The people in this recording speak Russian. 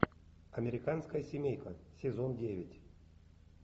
американская семейка сезон девять